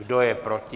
Kdo je proti?